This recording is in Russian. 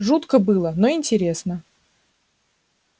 жутко было но интересно